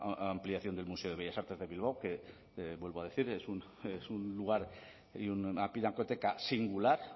ampliación del museo de bellas artes de bilbao que vuelvo a decir es un lugar y una pinacoteca singular